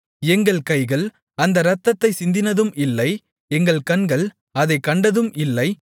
எங்கள் கைகள் அந்த இரத்தத்தைச் சிந்தினதும் இல்லை எங்கள் கண்கள் அதைக் கண்டதும் இல்லை